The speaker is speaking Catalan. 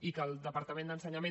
i que el departament d’ensenyament